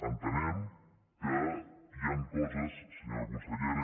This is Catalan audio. entenem que hi han coses senyora consellera